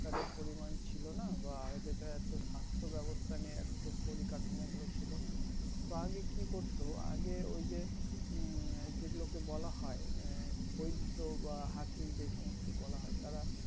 তাদের পরিমান ছিলোনা বা আগে তো এতো স্বাস্থ্য ব্যবস্থা নিয়ে রতো পরি কাঠামো গুলো ছিলো না তো আগে করতো আগে ওইযে হম যেগুলো কে বলা হয় আহ বৈদ্য বা হাকিম যে সমস্ত বলা হয় তারা